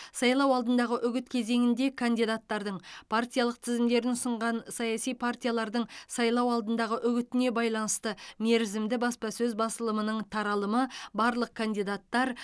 сайлау алдындағы үгіт кезеңінде кандидаттардың партиялық тізімдерін ұсынған саяси партиялардың сайлау алдындағы үгітіне байланысты мерзімді баспасөз басылымының таралымы барлық кандидаттар